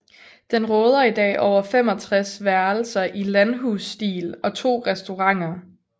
Den råder i dag over 65 værelser i landhusstil og to restauranter